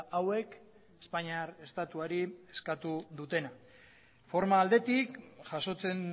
hauek espainiar estatuari eskatu dutena forma aldetik jasotzen